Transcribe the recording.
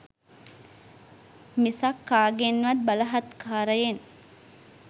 මිසක් කාගෙන්වත් බලහත්කාරයෙන්